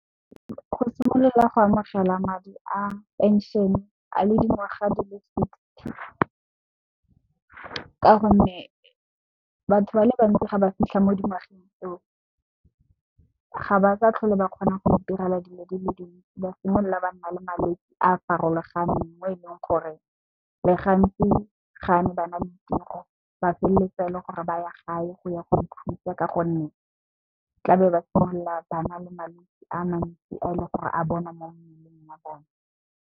Go simolola go amogelwa madi a phenšhene ka dingwaga di le sixty ka gonne, batho ba le bantsi ga ba fitlha mo dingwageng tseo ga ba sa tlhole ba kgona go itirela dilo di le dintsi. Ba simolola ba nna le malwetse a farologaneng mo e leng gore gantsi ga ne bana le tiro ba feleletsa e le gore ba ya gae go ya go ikhutsa ka gonne, tla be ba simolola ba na le malwetsi a mantsi a leng gore a bonwa mo mmeleng wa bone.